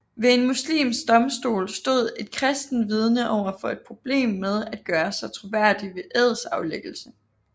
Ved en muslimsk domstol stod et kristent vidne overfor et problem med at gøre sig troværdig ved edsaflæggelse